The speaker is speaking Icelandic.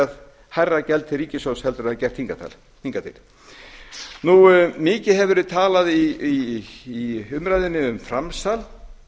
borgað hærra gjald til ríkissjóðs heldur en þær hafa gert hingað til mikið hefur verið talað í umræðunni um framsal